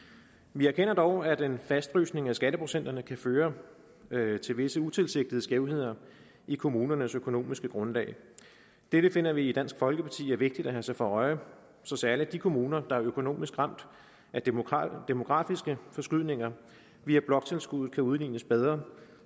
vi erkender dog at en fastfrysning af skatteprocenterne kan føre føre til visse utilsigtede skævheder i kommunernes økonomiske grundlag det finder vi i dansk folkeparti er vigtigt at holde sig for øje så særlig de kommuner der er økonomisk ramt af demografiske forskydninger via bloktilskuddet kan udlignes bedre